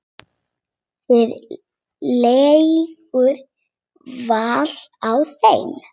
Það liggur vel á þeim.